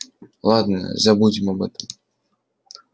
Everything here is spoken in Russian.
ладно забудем об этом